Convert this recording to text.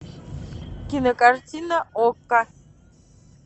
кинокартина окко